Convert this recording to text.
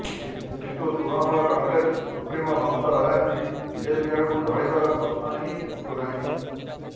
କିନ୍ତୁ Trinamool Congress supremo Mamata Banerjee BJP ଆଡ଼କୁ ଢଳିବାର ପ୍ରଶ୍ନ ହିଁ ଉଠୁନାହିଁ